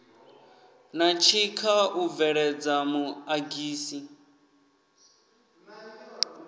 na tshikha u bveledza muḓagasi